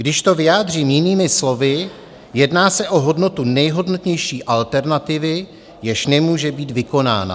Když to vyjádřím jinými slovy, jedná se o hodnotu nejhodnotnější alternativy, jež nemůže být vykonána.